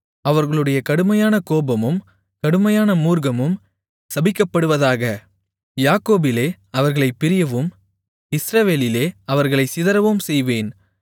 அவர்களுடைய கடுமையான கோபமும் கொடுமையான மூர்க்கமும் சபிக்கப்படுவதாக யாக்கோபிலே அவர்களைப் பிரியவும் இஸ்ரவேலிலே அவர்களைச் சிதறவும் செய்வேன்